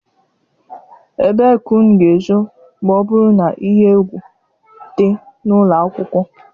Ebee ka unu ga-ezo ma ọ bụrụ na ihe egwu dị n'ụlọ akwụkwọ?